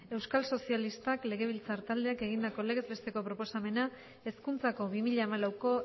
euskal sozialistak legebiltzar taldeak egindako legez besteko proposamena hezkuntzako bi mila hamalauko